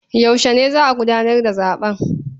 Yaushe ne za a gudanar da zaɓen?